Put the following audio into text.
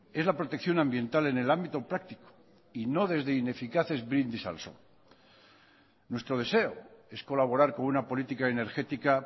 es la protección ambiental en el ámbito práctico y no desde ineficaces brindis al sol nuestro deseo es colaborar con una política energética